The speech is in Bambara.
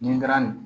Nin ga nin